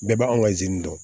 Bɛɛ b'an anw ka dɔn